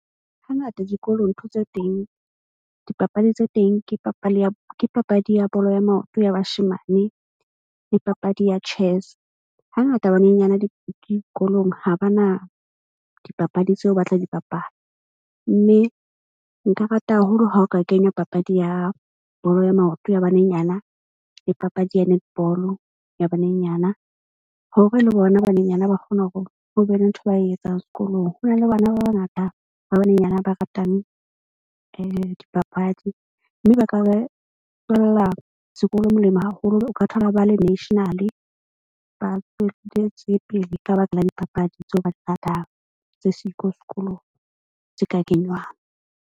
Hangata dikolong ntho tse teng dipapadi tse teng ke papadi ya bolo ya maoto, ya bashemane le papadi ya chess. Hangata banenyane dikolong ha ba na dipapadi tseo ba tla di papadi. Mme nka rata haholo ha o ka kenywa papadi ya bolo ya maoto ya banenyana le papadi ya netball-o ya banenyana, hore le bona banenyana ba kgone hore ho be le ntho ba e etsang sekolong. Ho na le bana ba bangata ba banenyana ba ratang dipapadi. Mme ba ka ba tlohela sekolo molemo haholo. O ka thola ba le national ba tswelletse pele ka baka la dipapadi tseo ba di ratang tse siko sekolong tse ka kenywang.